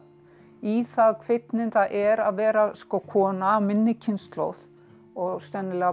í það hvernig það er að vera kona af minni kynslóð og sennilega